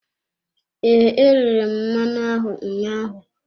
Ee, e rere m mmanụ ahụ ụnyaahụ.